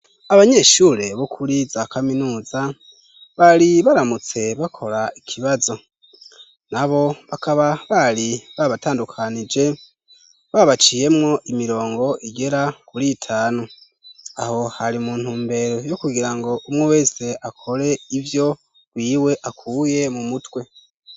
Abanyeshure bo kuri za kaminuza bari baramutse bakora ikibazo. Nabo bakaba bari babatandukanije, babaciyemwo imirongo igera kuri itanu. Aho hari mu ntumbere yo kugira ngo umwe wese akore ivyo rwiwe akuye mu mutwe.